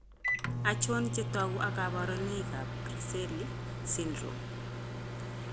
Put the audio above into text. Achon chetogu ak kaborunoik ab Griscelli syndrome?